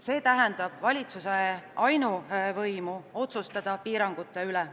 See tähendab valitsuse ainuvõimu otsustada piirangute üle.